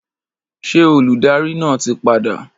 Ṣé olùdarí náà ti padà?